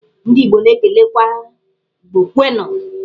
Ndị igbo na-ekelekwa "Igbo kwenụ'.